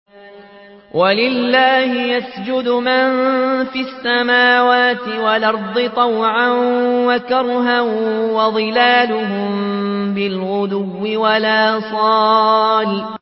وَلِلَّهِ يَسْجُدُ مَن فِي السَّمَاوَاتِ وَالْأَرْضِ طَوْعًا وَكَرْهًا وَظِلَالُهُم بِالْغُدُوِّ وَالْآصَالِ ۩